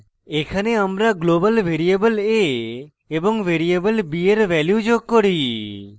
এখানে আমরা global variable a এবং ভ্যারিয়েবল b এর ভ্যালু যোগ করি